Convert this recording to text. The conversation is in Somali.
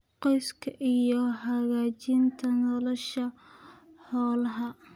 qoyska iyo hagaajinta nolosha xoolaha.